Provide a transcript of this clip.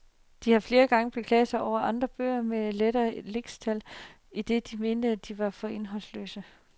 De har flere gange beklaget sig over andre bøger med lettere lixtal, idet de mente, de var for indholdsløse.